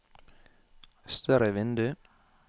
større vindu